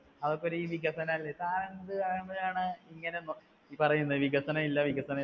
അതൊക്കെ ഒരു വികസനം അല്ലേ? താൻ എന്ത് ഇങ്ങനെ നൊ പറയുന്നത് വികസനമില്ല വികസനമില്ല.